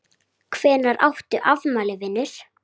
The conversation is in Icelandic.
Hvenær áttu afmæli vinur?